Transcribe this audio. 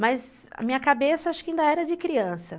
Mas a minha cabeça, acho que ainda era de criança.